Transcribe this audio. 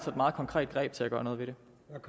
meget konkret greb til at gøre noget ved det